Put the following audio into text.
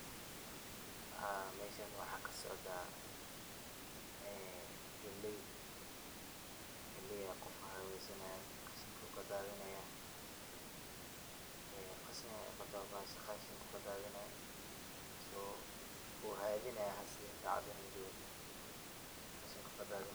Meshan waxa kasocda, galey ayu qof hadisanaya qashinkana kadadsanaya, qashin ayey qabta bahasha oo uu kadadinaya so wuu hadinaya sacadan lajogo oo qashinku kadadinaya.